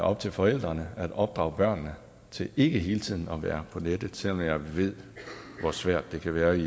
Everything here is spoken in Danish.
op til forældrene at opdrage børnene til ikke hele tiden at være på nettet selv om jeg ved hvor svært det kan være i